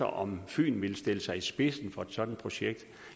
om fyn ville stille sig i spidsen for et sådant projekt